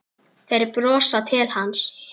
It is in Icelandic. Þeir brosa til hans.